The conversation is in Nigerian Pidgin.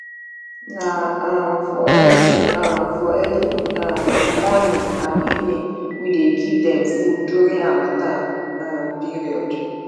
na um for early um for early um morning and evening we dey give dem food during harmattan um period